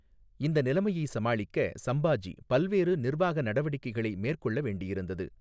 இந்த நிலைமையை சமாளிக்க சம்பாஜி பல்வேறு நிர்வாக நடவடிக்கைகளை மேற்கொள்ள வேண்டியிருந்தது.